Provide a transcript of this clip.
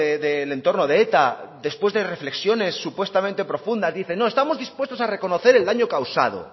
del entorno de eta después de reflexiones supuestamente profundas dicen no estamos dispuestos a reconocer el daño causado